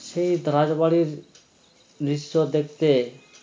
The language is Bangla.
সেই তা রাজবাড়ীর দৃশ্য দেখতে